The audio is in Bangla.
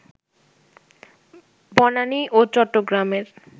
বানানী ও চট্টগ্রামের